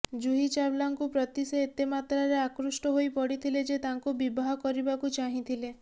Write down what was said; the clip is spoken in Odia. ଜୁହି ଚାୱାଲାଙ୍କୁ ପ୍ରତି ସେ ଏତେ ମାତ୍ରାରେ ଆକୃଷ୍ଟ ହୋଇ ପଡିଥିଲେ ଯେ ତାଙ୍କୁ ବିବାହ କରିବାକୁ ଚାହିଁଥିଲେ